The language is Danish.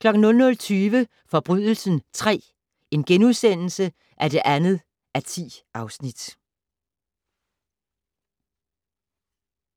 00:20: Forbrydelsen III (2:10)*